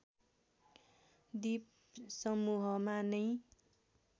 द्वीपसमूहमा नैं